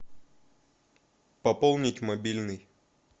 пополнить мобильный